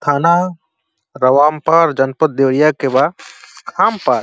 थाना रवामपार जनपद देवरिया के बा। खामपार --